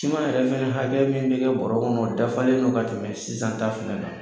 Siman yɛrɛ fɛnɛ hakɛ min bɛ kɛ bɔro kɔnɔ, o dafalen do ka tɛmɛ sisan ta fɛnɛ kan.